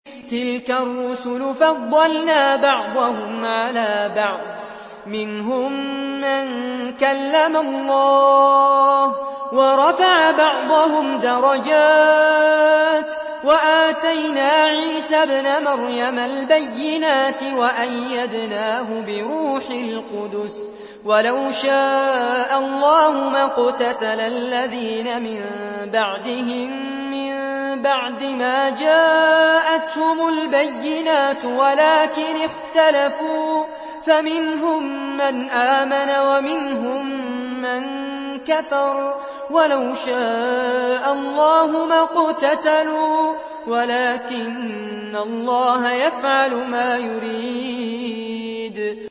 ۞ تِلْكَ الرُّسُلُ فَضَّلْنَا بَعْضَهُمْ عَلَىٰ بَعْضٍ ۘ مِّنْهُم مَّن كَلَّمَ اللَّهُ ۖ وَرَفَعَ بَعْضَهُمْ دَرَجَاتٍ ۚ وَآتَيْنَا عِيسَى ابْنَ مَرْيَمَ الْبَيِّنَاتِ وَأَيَّدْنَاهُ بِرُوحِ الْقُدُسِ ۗ وَلَوْ شَاءَ اللَّهُ مَا اقْتَتَلَ الَّذِينَ مِن بَعْدِهِم مِّن بَعْدِ مَا جَاءَتْهُمُ الْبَيِّنَاتُ وَلَٰكِنِ اخْتَلَفُوا فَمِنْهُم مَّنْ آمَنَ وَمِنْهُم مَّن كَفَرَ ۚ وَلَوْ شَاءَ اللَّهُ مَا اقْتَتَلُوا وَلَٰكِنَّ اللَّهَ يَفْعَلُ مَا يُرِيدُ